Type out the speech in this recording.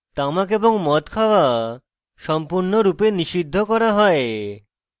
তামাক এবং মদ খাওয়া সম্পূর্ণরূপে নিষিদ্ধ করা হয়